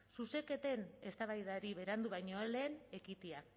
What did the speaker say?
zuzenketen eztabaidari berandu baino lehen ekitea